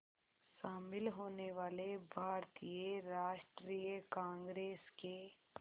शामिल होने वाले भारतीय राष्ट्रीय कांग्रेस के